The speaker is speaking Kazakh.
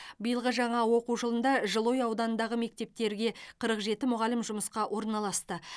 биылғы жаңа оқу жылында жылыой ауданындағы мектептерге қырық жеті мұғалім жұмысқа орналасты